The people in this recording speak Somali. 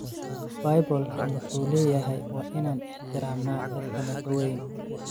Bibolka muxu leyahy waa inan ixtiramna dadaka nakaweyn.